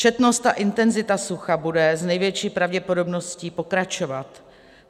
Četnost a intenzita sucha bude s největší pravděpodobností pokračovat.